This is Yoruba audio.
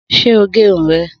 Sé o gérun rẹ?